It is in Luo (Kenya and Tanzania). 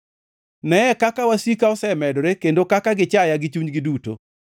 Neye kaka wasika osemedore kendo kaka gichaya gi chunygi duto!